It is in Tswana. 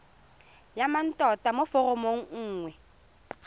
ya mmatota mo foromong nngwe